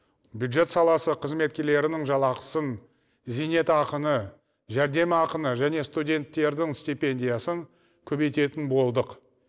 бюджет саласы қызметкерлерінің жалақысын зейнетақыны жәрдемақыны және студенттердің стипендиясын көбейтетін болдық